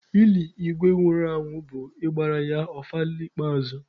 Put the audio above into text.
Ili Igwe nwụrụ anwụ bụ ịgbara ya ọfala ikpeazụ ya.